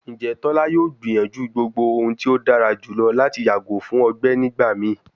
Njẹ tola yoo gbiyanju gbogbo ohun ti o dara julọ lati yago fun ọgbẹ nigbamii?